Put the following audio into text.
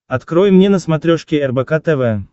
открой мне на смотрешке рбк тв